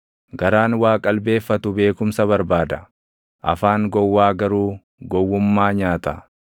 Garaan waa qalbeeffatu beekumsa barbaada; afaan gowwaa garuu gowwummaa nyaata.